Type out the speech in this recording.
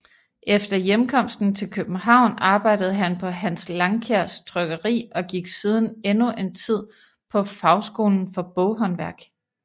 Efter hjemkomsten til København arbejdede han på Hans Langkjærs Trykkeri og gik siden endnu en tid på Fagskolen for Boghåndværk